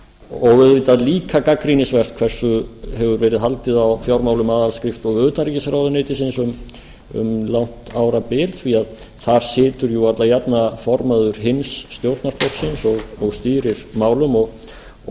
og auðvitað líka gagnrýnisvert hversu hefur verið haldið á fjármálum aðalskrifstofu utanríkisráðuneytisins um langt árabil því þar situr alla jafna formaður hins stjórnarflokksins og stýrir málum og